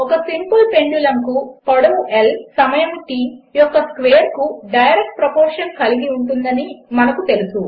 ఒక simple pendulum కు పొడవు ల్ సమయము T యొక్క స్క్వేర్కు డైరెక్ట్ ప్రపోర్షన్ కలిగి ఉంటుందని మనకు తెలుసు